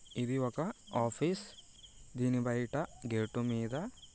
ఇది ఒక ఆఫీస్ . దీని బయట గేటు మీద --